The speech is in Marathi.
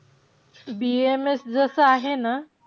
BAMS जसं आहे ना,